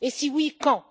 Et si, oui, quand?